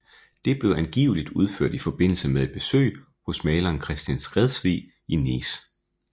Det blev angiveligt udført i forbindelse med et besøg hos maleren Christian Skredsvig i Nice